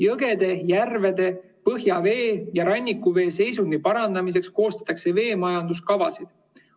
Jõgede, järvede, põhjavee ja rannikuvee seisundi parandamiseks koostatakse veemajanduskavasid.